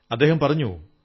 അദ്ദേഹം പറഞ്ഞു